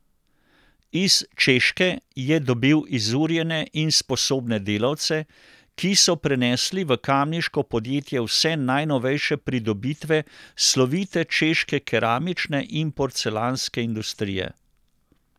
Iz Češke je dobil izurjene in sposobne delavce, ki so prenesli v kamniško podjetje vse najnovejše pridobitve slovite češke keramične in porcelanske industrije.